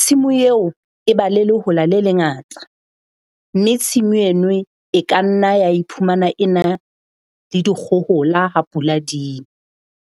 Tshimo eo e ba le lehola le lengata. Mme tshimu enwe e ka nna ya iphumana ena le dikgohola ha pula di.